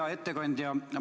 Hea ettekandja!